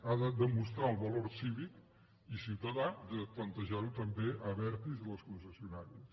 ha de demostrar el valor cívic i ciutadà de plantejar ho també a abertis i a les concessionàries